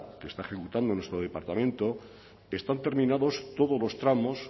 que está ejecutando nuestro departamento están terminados todos los tramos